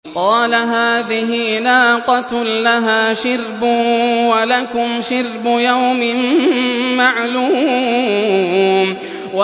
قَالَ هَٰذِهِ نَاقَةٌ لَّهَا شِرْبٌ وَلَكُمْ شِرْبُ يَوْمٍ مَّعْلُومٍ